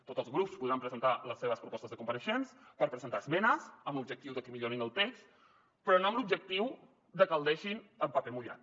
tots els grups podran presentar les seves propostes de compareixents per presentar esmenes amb l’objectiu de que millorin el text però no amb l’objectiu de que el deixin en paper mullat